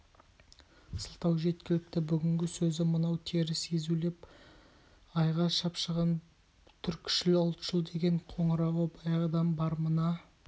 сылтау жеткілікті бүгінгі сөзі мынау теріс езулеп айға шапшыған түркішіл ұлтшыл деген қоңырауы баяғыдан бар мына